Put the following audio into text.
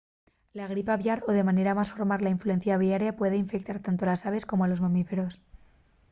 la gripe aviar o de manera más formal la influencia aviaria puede infectar tanto a les aves como a los mamíferos